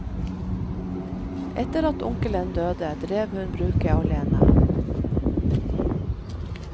Etter at onkelen døde, drev hun bruket alene.